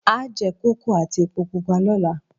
A jẹ kókò àti èpo pupa lọ́la